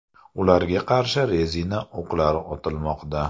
Ularga qarshi rezina o‘qlar otilmoqda.